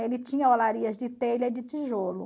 Ele tinha olarias de telha e de tijolo.